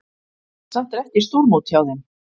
Samt er ekki stórmót hjá þeim.